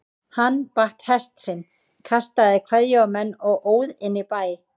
Hann batt hest sinn, kastaði kveðju á menn og óð inn í bæ.